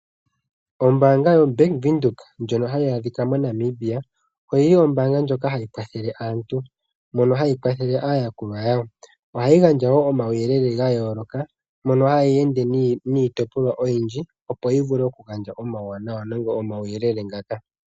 Ombaanga yobank Windhoek ndjono hayi adhika moNamibia oyili hayi kwathele aantu mono hayi kwathele aayakulwa yawo. Ohayi gandja wo omauyelele ga yooloka mono hayi ende niitopolwa oyindji , opo yi vule gandje omauwanawa nenge omauyelele ngaka.